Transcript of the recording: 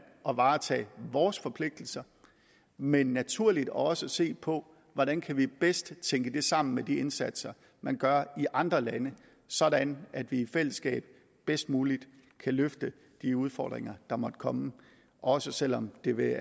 at varetage vores forpligtelser men naturligt også se på hvordan vi bedst kan tænke det sammen med de indsatser man gør i andre lande sådan at vi i fællesskab bedst muligt kan løfte de udfordringer der måtte komme også selv om de vil